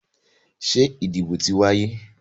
Ṣé ìdìbò ti wáyé?